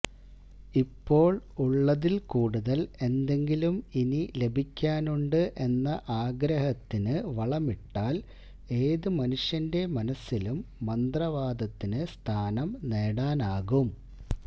ഇപ്പോൾ ഉള്ളതിൽ കൂടുതൽ എന്തെങ്കിലും ഇനി ലഭിക്കാനുണ്ട് എന്ന ആഗ്രഹത്തിന് വളമിട്ടാൽ ഏത് മനുഷ്യന്റെ മനസ്സിലും മന്ത്രവാദത്തിന് സ്ഥാനം നേടാനാകും